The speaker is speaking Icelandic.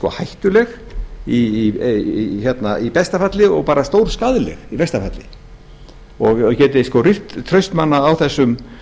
sé hættuleg í besta falli og bara stórskaðleg í versta falli og geti rýrt traust manna á þessum